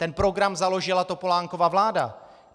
Ten program založila Topolánkova vláda.